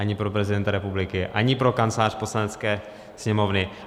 Ani pro prezidenta republiky, ani pro Kancelář Poslanecké sněmovny.